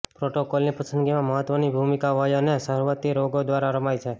પ્રોટોકોલની પસંદગીમાં મહત્વની ભૂમિકા વય અને સહવર્તી રોગો દ્વારા રમાય છે